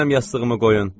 Mənim yastığımı qoyun,